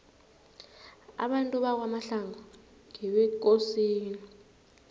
abantu bakwamahlangu ngebekosini